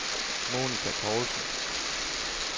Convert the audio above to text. Monica Poulsen